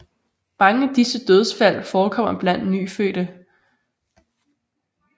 Mange af disse dødsfald forekommer blandt nyfødte